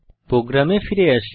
প্রোগ্রামে ফিরে আসি